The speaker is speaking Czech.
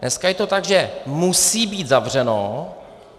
Dneska je to tak, že musí být zavřeno.